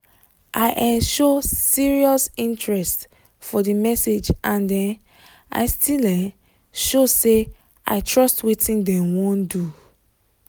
i um show serious interest for the message and um i still um show say i trust wetin dem wan do